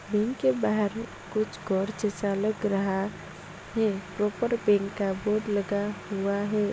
Bank के बहार कुछ रहा है ऊपर बैंक का बोर्ड लगा हुआ है।